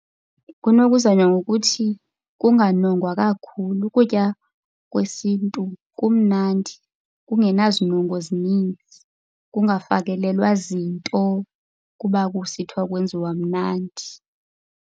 Kunokuzanywa ngokuthi kunganongwa kakhulu. Ukutya kwesintu kumnandi kungenazinongo zininzi, kungafakelelwa zinto kuba kusithiwa kwenziwa mnandi.